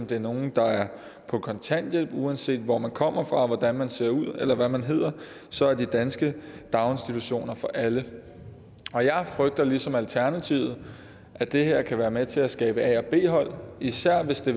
det er nogle der er på kontanthjælp uanset hvor man kommer fra og hvordan man ser ud eller hvad man hedder så er de danske daginstitutioner for alle og jeg frygter ligesom alternativet at det her kan være med til at skabe et a b hold især hvis det